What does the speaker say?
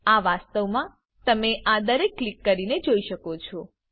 આ વાસ્તવમાં તમે આ દરેકને ક્લિક કરીને જોઈ શકો છો